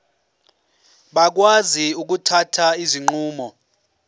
bakwazi ukuthatha izinqumo